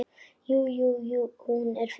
Jú, jú. hún er fín.